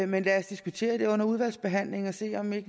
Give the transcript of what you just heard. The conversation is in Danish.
men lad os diskutere det under udvalgsbehandlingen og se om vi